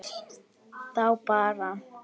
Þá bar